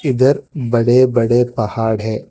ईधर बड़े बड़े पहाड़ है।